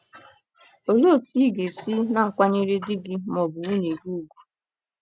n you show that you respect your mate? Olee otú ị ga - esi na - akwanyere di gị ma ọ bụ nwunye gị ùgwù?